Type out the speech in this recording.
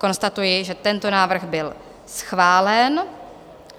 Konstatuji, že tento návrh byl schválen.